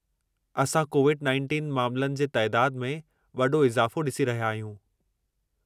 असां कोविड-19 मामलनि जे तइदादु में वॾो इज़ाफ़ो ॾिसी रहिया आहियूं।